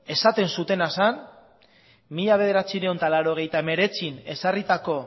esaten zutena zen mila bederatziehun eta laurogeita hemeretzian ezarritako